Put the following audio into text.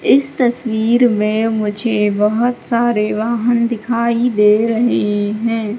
इस तस्वीर में मुझे बहोत सारे वाहन दिखाई दे रहे हैं।